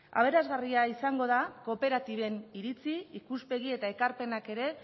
aberasgarria izango da kooperatiben iritzi ikuspegi eta ekarpenak ere